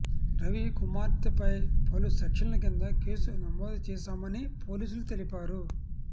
రవి కుమార్పై పలు సెక్షన్ల కింద కేసు నమోదు చేశామని పోలీసులు తెలిపారు